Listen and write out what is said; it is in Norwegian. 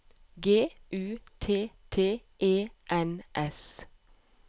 G U T T E N S